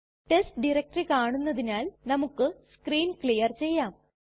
test directory കാണുന്നതിനാൽ നമുക്ക് screen clear ചെയ്യാം